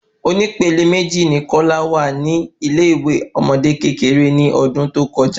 Oní pẹlẹ meji ni kola wa ni ile ìwé ọmọdé kékeré ni ọdún tó kọjá